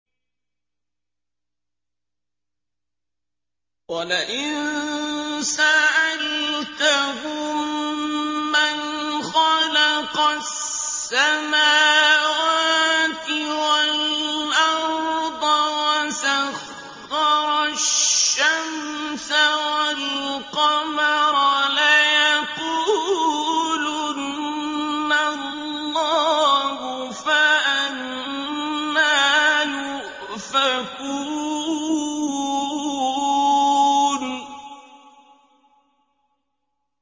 وَلَئِن سَأَلْتَهُم مَّنْ خَلَقَ السَّمَاوَاتِ وَالْأَرْضَ وَسَخَّرَ الشَّمْسَ وَالْقَمَرَ لَيَقُولُنَّ اللَّهُ ۖ فَأَنَّىٰ يُؤْفَكُونَ